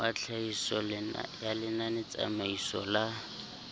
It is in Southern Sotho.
wa tlhahiso ya lenanetsamaiso la